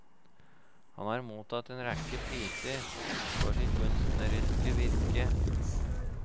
Han har mottatt en rekke priser for sitt kunstneriske virke.